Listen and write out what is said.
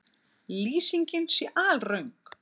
Lýsingin sé alröng